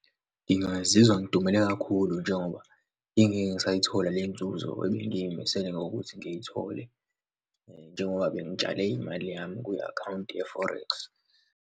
Ngingazizwa ngidumele kakhulu njengoba ngingeke ngisayithola lenzuzo ebengiy'misele ngokuthi ngiyithole njengoba bengitshale imali yami kwi-akhawunti ye-forex.